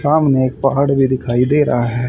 सामने एक पहाड़ भी दिखाई दे रहा है।